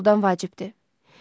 Sevgi puldan vacibdir.